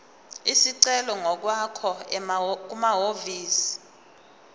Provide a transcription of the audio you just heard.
isicelo ngokwakho kumahhovisi